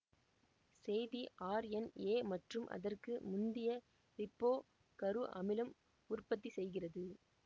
செய்தி ஆர்என் எ மற்றும் அதற்கு முந்திய ரிபோ கரு அமிலம் உற்ப்பத்தி செய்கிறது